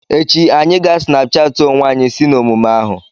Echi, anyị ga Snapuchati onwe anyi si n'omume ahu.